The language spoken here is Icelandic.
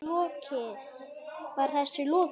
Var þessu lokið?